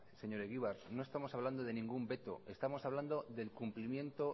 señor egibar no estamos hablando de ningún veto estamos hablando del cumplimiento